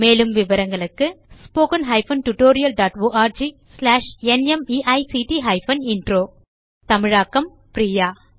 மேலும் விவரங்களுக்கு 1 தமிழாக்கம் பிரியா